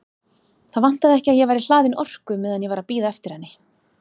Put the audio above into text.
Það vantaði ekki að ég væri hlaðinn orku meðan ég var að bíða eftir henni.